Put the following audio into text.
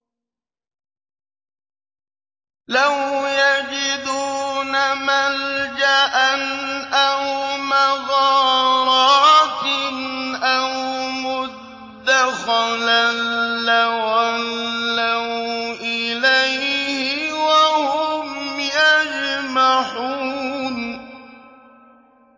لَوْ يَجِدُونَ مَلْجَأً أَوْ مَغَارَاتٍ أَوْ مُدَّخَلًا لَّوَلَّوْا إِلَيْهِ وَهُمْ يَجْمَحُونَ